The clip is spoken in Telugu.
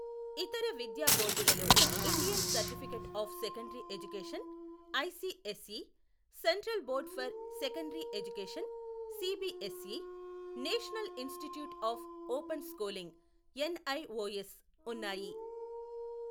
ఇతర విద్యా బోర్డులలో Indian certificate of secondary education ICSE, central board for secondary education CBSE, national institute of open schooling NIOS ఉన్నాయి.